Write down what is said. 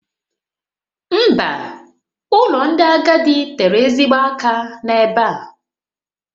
Mba, ụlọ ndị agadi tere ezigbo aka n'ebe a